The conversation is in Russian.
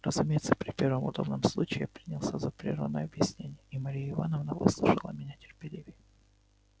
разумеется при первом удобном случае я принялся за прерванное объяснение и марья ивановна выслушала меня терпеливее